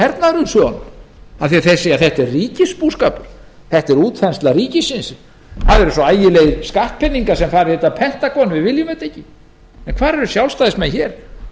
eru á móti hernaðarumsvifum þeir segja þetta er ríkisbúskapur þetta er útþensla ríkisins það eru svo ægilegir skattpeningar sem fara í þetta pentagon að við viljum þetta ekki en hvar eru sjálfstæðismenn hér